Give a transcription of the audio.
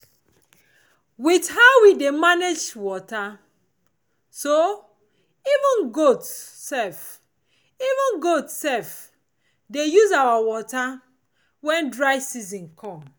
with how we dey manage water so even goat sef even goat sef dey use our water when dry season come